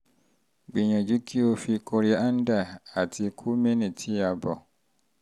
gbìyànjú kí o fi kòríáńdà àti kúmínì tí a bọ̀